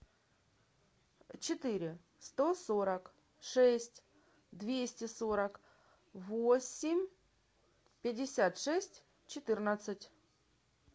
четыре сто сорок шесть двести сорок восемь пятьдесят шесть четырнадцать